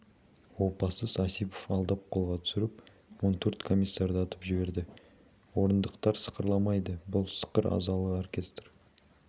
опасыз осипов алдап қолға түсіріп он төрт комиссарды атып жіберді орындықтар сықырлайды бұл сықыр азалы оркестр